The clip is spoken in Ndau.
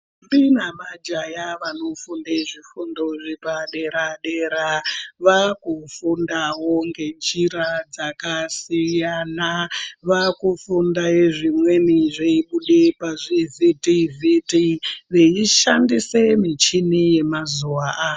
Ntombi nemajaha vanofunde zvifundo zvepadera dera vakufundawo ngenjira dzakasiyana, vakufunda zvimweni zveibude pazvivhitivhiti veishandise michini yemazuwa ano.